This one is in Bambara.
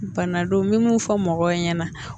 Bana don n bɛ mun fɔ mɔgɔw ɲɛna